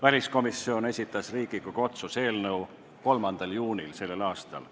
Väliskomisjon esitas selle Riigikogu otsuse eelnõu 3. juunil sellel aastal.